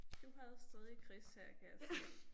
Du havde stadig Chris her kan jeg se